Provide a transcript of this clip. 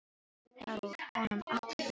Þá er úr honum allur vindur.